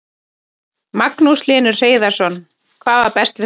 Magnús Hlynur Hreiðarsson: Hvað var best við þetta?